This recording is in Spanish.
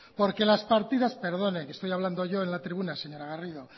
porque las partidas perdone que estoy hablando yo en la tribuna señora garrido